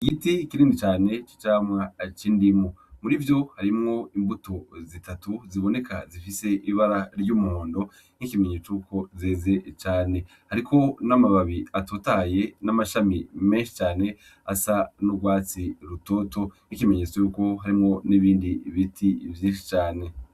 Igiti kinini cane c'icamwa c'indimu murivyo harimwo imbuto zitatu ziboneka zifise ibara ry'umuhondo nk'ikimenyetso cuko zeze cane hariko n'amababi atotahaye n'amashami menshi cane asa n'ugwatsi rutoto nk'ikimenyetso yuko harimwo n'ibindi biti vyinshi cane.